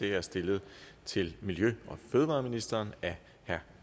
er stillet til miljø og fødevareministeren af herre